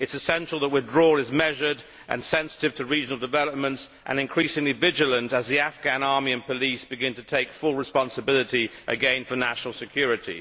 It is essential that withdrawal is measured and sensitive to regional developments, and increasingly vigilant as the Afghan army and police begin to take full responsibility again for national security.